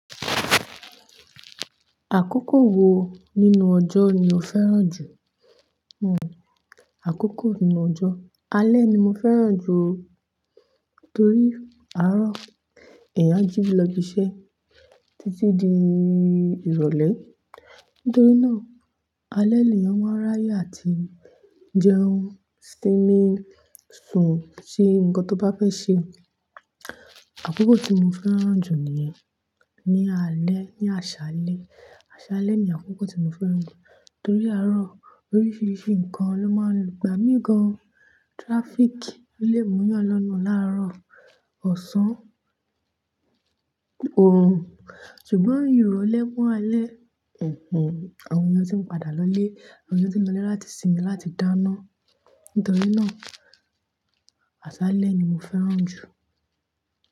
Àkókò wo nínú ọjọ́ ni o fẹ́ràn jù? Hm, àkókò nínú ọjọ́. Alẹ́ ni mo fẹ́ràn jù, torí àárọ̀ èèyàn a jí lọ ibi iṣẹ́ títí di ìrọ̀lẹ́. Nítorí náà alẹ́ lèyàn máa ń ráyà àti jẹun, sìńmi, sùn ṣe nkán tó bá fẹ́ ṣe. Àkókò tí mo fẹ́ràn jù ni yẹn, ní alẹ́, ní àṣálẹ́. Àṣálẹ́ ni àkókò tí mo fẹ́ràn jù torí àárọ̀ oríṣiríṣi nǹkan ló máa ń, gba mí gán. Traffic lè múyàn lọ́nà láàárọ̀ ọ̀sán, oòrùn. Ṣùgbọ́n ìrọ̀lẹ́ mọ́ alẹ́, àwọn èèyàn tí ń padà lọlé, àwọn èèyàn tí ń lọlé láti sinmi láti dáná. Nítorí náà, àṣálẹ́ ni mo fẹ́ràn jù.